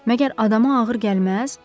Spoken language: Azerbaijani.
Məgər adama ağır gəlməz?